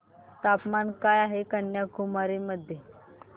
तापमान काय आहे कन्याकुमारी मध्ये